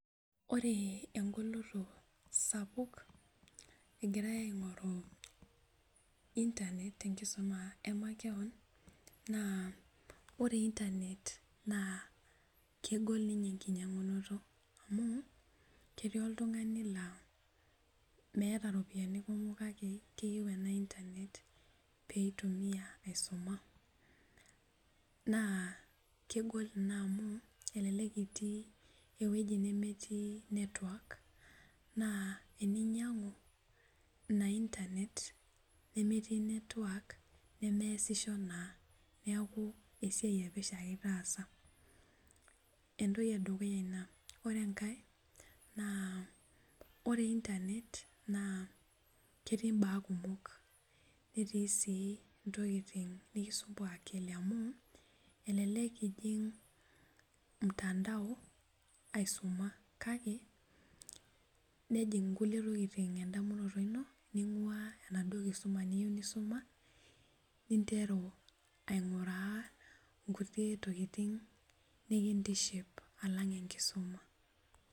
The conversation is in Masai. Ore engoloto sapuk egirae aing'oru internet tenkisuma emakewon naa ore internet naa kegol ninye enkinyiang'unoto amu ketii oltung'ani laa meeta iropiyiani kumok kake keyieu ena internet peitumiyia aisuma naa kegol ina amu elelek itii ewueji nemetii network naa eninyiang'u ina internet nemetii network nemeesisho naa neeku esiai epesho ake itaasa entoki edukuya ina ore enkae naa ore internet naa ketii imbaa kumok netii sii intokiting nikisumbua akili amu elelek ijing mtandao aisuma kake nejing inkulie tokiting endamunoto ino ning'ua enaduo kisuma niyieu nisuma ninteru aing'uraa nkulie tokiting nikintiship alang enkisuma.